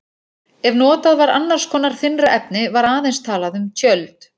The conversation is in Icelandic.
Ef notað var annars konar þynnra efni var aðeins talað um tjöld.